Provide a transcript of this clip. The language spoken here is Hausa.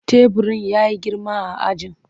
Teburin ya yi girma a ajin.